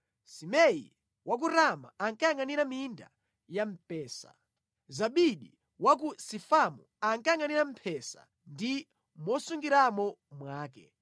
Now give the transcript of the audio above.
Simei wa ku Rama ankayangʼanira minda ya mpesa. Zabidi wa ku Sifamu ankayangʼanira mphesa ndi mosungiramo mwake.